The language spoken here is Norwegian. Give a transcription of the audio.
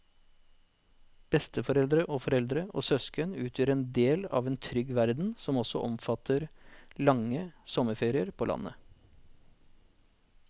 Besteforeldre og foreldre og søsken utgjør en del av en trygg verden som også omfatter lange sommerferier på landet.